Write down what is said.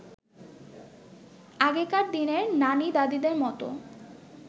আগেকার দিনের নানি-দাদিদের মতো